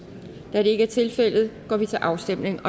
da det ikke er tilfældet går vi til afstemning